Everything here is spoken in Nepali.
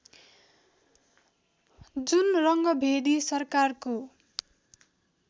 जुन रङ्गभेदी सरकारको